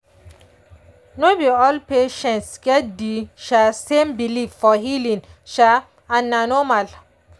no be all patients get the um same belief for healing um and na normal.